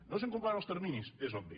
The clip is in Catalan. no s’han complert els terminis és obvi